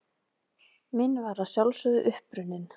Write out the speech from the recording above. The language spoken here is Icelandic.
Minn var að sjálfsögðu uppruninn.